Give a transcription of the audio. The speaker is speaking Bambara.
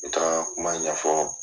n taara kuma ɲɛfɔ.